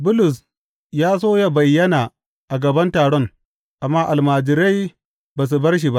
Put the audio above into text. Bulus ya so ya bayyana a gaban taron, amma almajirai ba su bar shi ba.